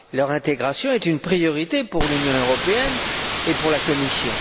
Leur intégration est une priorité pour l'Union et pour la Commission.